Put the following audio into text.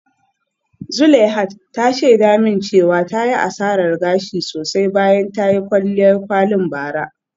Zuleihat ta shaida min cewa ta yi asarar gashi sosai bayan ta yi kwalliyar kwalin bara.